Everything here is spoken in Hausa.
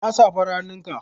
Ina safar hannunka?